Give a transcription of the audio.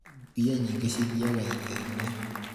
mbia nyĩngĩ cithiaga irio-inĩ